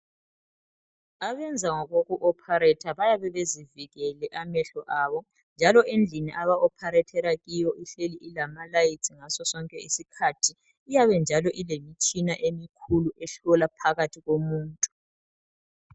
Abenza ngokokuopharetha bayabe bezivikele amehlo abo njalo endlini abaopharethela kiyo ihleli ilamalayitsi ngaso sonke isikhathi iyabe njalo ilemitshina emikhulu ehlola phakathi komuntu.